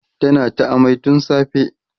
tana ta amai tun safe